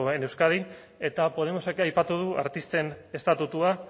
en euskadi eta podemosek aipatu du artisten estatutua